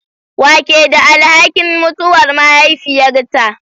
Wa ke da alhakin mutuwar mahaifiyarta?